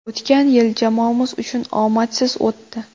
O‘tgan yil jamoamiz uchun omadsiz o‘tdi.